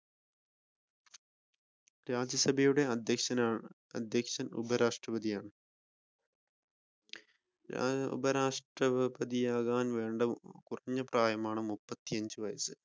രാജ്യസഭയുടെ അധ്യക്ഷണാണ് അധ്യക്ഷൻ ഉപരാഷ്ട്രപതിയാണ് ഉപരാഷ്ട്രപതിയാകാൻ വേണ്ടിയുള്ള കുറഞ്ഞ പ്രയാണമാണ് മുപ്പത്തിയഞ്ച് വയസ്സ്.